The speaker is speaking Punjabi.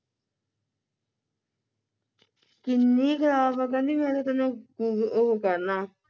ਕਿੰਨੀ ਖਰਾਬ ਆ ਕਹਿੰਦੀ ਮੈਂ ਤਾਂ ਤੈਨੂੰ google ਉਹ ਕਰਨਾ